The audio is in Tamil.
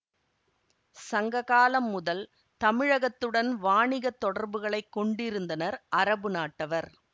சங்க காலம் முதல் தமிழகத்துடன் வாணிகத் தொடர்புகளை கொண்டிருந்தனர் அரபு நாட்டவர்